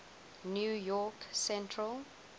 new york central